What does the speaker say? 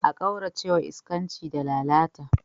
A kaurace wa iskanci da lalata.